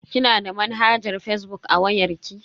Kina da manhajar fazbuk a wayar ki?